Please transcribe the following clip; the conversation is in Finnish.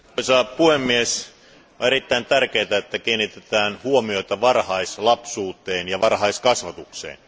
Arvoisa puhemies, on erittäin tärkeää, että kiinnitetään huomiota varhaislapsuuteen ja varhaiskasvatukseen.